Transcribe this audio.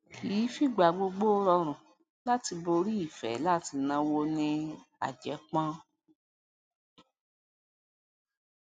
kì í fìgbà gbogbo rọrùn láti borí ìfé láti náwó ní àjẹpón